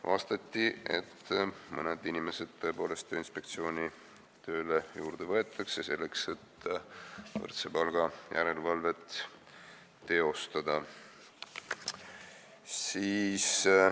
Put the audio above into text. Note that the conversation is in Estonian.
Vastati, et mõned inimesed tõepoolest Tööinspektsiooni tööle juurde võetakse, selleks et võrdse palga järelevalvet teha.